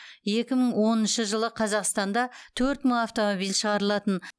екі мың оныншы жылы қазақстанда төрт мың автомобиль шығарылатын